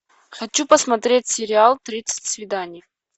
хочу посмотреть сериал тридцать свиданий